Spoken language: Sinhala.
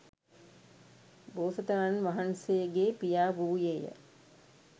බෝසතාණන් වහන්සේගේ පියා වූයේ ය.